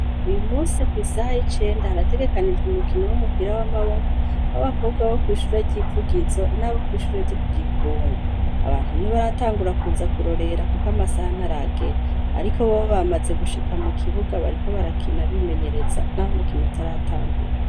uyu munsi kw' isaha y'icenda harategekanijwe umukino w'umupira w'amaboko b'abakobwa bo kw' ishure ry'ivugizo n'abo kwishure ryo ku gikungu abantu nti baratangura kuza kurorera kuko amasaha ntaragera ariko bobo bamaze gushika mu kibuga bariko barakina bimenyereza n'aho umukino utaratangura